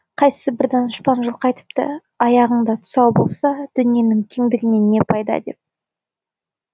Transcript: қайсы бір данышпан жылқы айтыпты аяғыңда тұсау болса дүниенің кеңдігінен не пайда деп